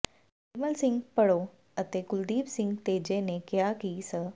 ਨਿਰਮਲ ਸਿੰਘ ਭੜੋ ਤੇ ਕੁਲਦੀਪ ਸਿੰਘ ਤੇਜੇ ਨੇ ਕਿਹਾ ਕਿ ਸ